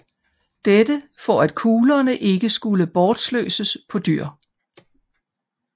Dette for at kuglerne ikke skulle bortsløses på dyr